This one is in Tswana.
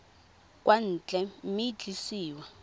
kwa ntle mme e tliswa